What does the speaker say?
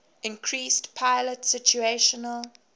increased pilot situational